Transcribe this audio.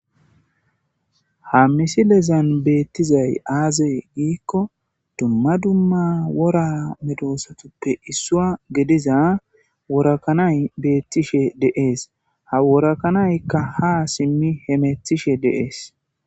Haa missilezanni bettizayi azee gidikko dumma dumma wora medosatuppe issuwa gidizza worko kanayi betishshe de'ees.haa woro kanayikka ha simmi hemetishshe de'ees.